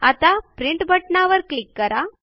आता प्रिंट बटणावर क्लिक करा